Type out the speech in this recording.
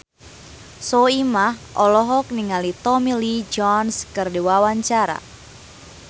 Soimah olohok ningali Tommy Lee Jones keur diwawancara